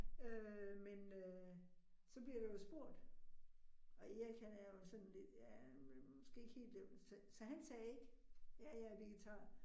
Øh men øh så bliver der jo spurgt, og Erik han er jo sådan lidt ja men måske ikke helt, så han sagde ikke, ja, jeg er vegetar